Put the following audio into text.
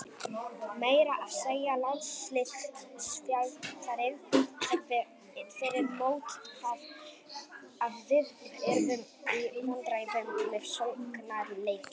Meira að segja landsliðsþjálfarinn sagði fyrir mót að við yrðum í vandræðum með sóknarleikinn.